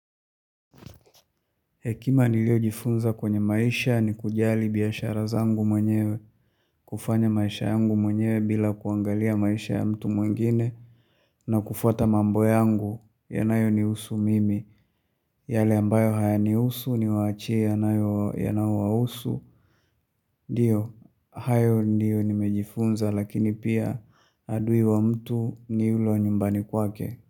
Hekima niliojifunza kwenye maisha ni kujali biashara zangu mwenyewe kufanya maisha yangu mwenyewe bila kuangalia maisha ya mtu mwengine na kufuata mambo yangu yanayonihusu mimi yale ambayo hayanihusu niwaachie yanayo yanayowahusu. Ndiyo, hayo ndiyo nimejifunza lakini pia adui wa mtu ni ule wa nyumbani kwake.